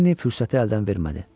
Lenni fürsəti əldən vermədi.